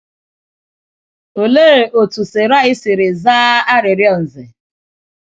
Olee otú Sarai siri zaa arịrịọ Nze?